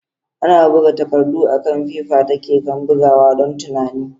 Ana buga takardu akan fefa ta keken bugawa don tunani.